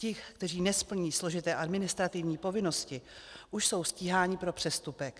Ti, kteří nesplní složité administrativní povinnosti, už jsou stíháni pro přestupek.